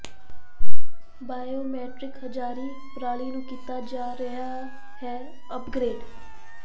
biometric ਹਾਜ਼ਰੀ ਪ੍ਰਣਾਲੀ ਨੂੰ ਕੀਤਾ ਜਾ ਰਿਹਾ ਹੈ ਅਪਗ੍ਰੇਡ